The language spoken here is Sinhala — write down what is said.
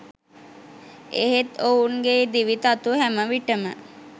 එහෙත් ඔවුන්ගේ දිවි තතු හැම විට ම